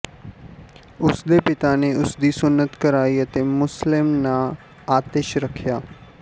ਉਸ ਦੇ ਪਿਤਾ ਨੇ ਉਸ ਦੀ ਸੁੰਨਤ ਕਰਾਈ ਅਤੇ ਮੁਸਲਿਮ ਨਾਂਅ ਆਤਿਸ਼ ਰੱਖਿਆ